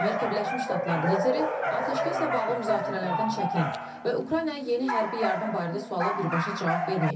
Amerika Birləşmiş Ştatları lideri atəşkəslə bağlı müzakirələrdən çəkinib və Ukraynaya yeni hərbi yardım barədə suala birbaşa cavab verməyib.